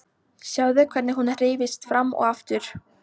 Sjáðu hvernig hún hreyfist fram og aftur.